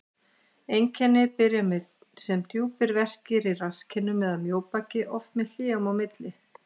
Einkenni byrja sem djúpir verkir í rasskinnum eða mjóbaki, oft með hléum í byrjun.